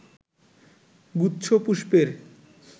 গুচ্ছ পুষ্পের